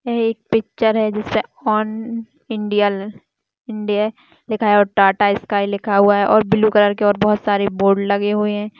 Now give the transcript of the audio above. यह एक पिक्चर है जिसपे ऑन इंडियल इंडिया लिखा है और टाटा स्काइ लिखा हुआ है और ब्लू कलर के और बोहत सारे बोर्ड लगे हुए है।